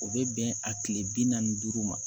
O bɛ bɛn a kile bi naani ni duuru ma